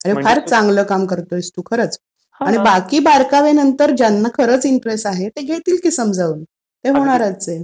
फार चांगलं काम करत आहेस तू खरंच. आणि बाकी बारकावे जे आहेत ज्यांना खरंच इंटरेस्ट आहे ते घेतीलच कि समजून. ते होणारच आहे